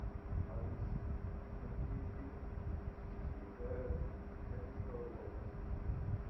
алиса найди фильм где играет дженнифер лопес